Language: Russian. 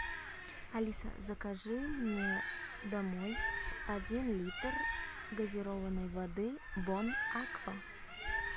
алиса закажи мне домой один литр газированной воды бон аква